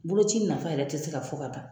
Boloci nafa yɛrɛ tɛ se ka fɔ ka ban.